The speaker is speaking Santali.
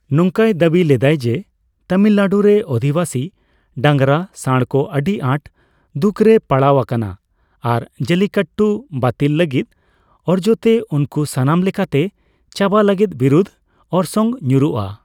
ᱱᱚᱝᱠᱟᱭ ᱫᱟᱹᱵᱤ ᱞᱮᱫᱟᱭ ᱡᱮ ᱛᱟᱢᱤᱞᱱᱟᱰᱩ ᱨᱮ ᱟᱫᱷᱤᱵᱟᱥᱤ ᱰᱟᱝᱨᱟ ᱥᱟᱸᱬᱠᱚ ᱟᱹᱰᱤ ᱟᱴ ᱫᱩᱠᱨᱮ ᱯᱟᱲᱟᱣ ᱟᱠᱟᱱᱟ ᱟᱨ ᱡᱟᱞᱞᱤᱠᱟᱴᱴᱩ ᱵᱟᱹᱛᱤᱞ ᱞᱟᱹᱜᱤᱫ ᱚᱨᱡᱛᱮ ᱩᱱᱠᱩ ᱥᱟᱱᱟᱢ ᱞᱮᱠᱟᱛᱮ ᱪᱟᱵᱟ ᱞᱟᱹᱜᱤᱫ ᱵᱤᱨᱩᱫᱷ ᱚᱨᱥᱚᱝ ᱧᱩᱨᱩ ᱟ᱾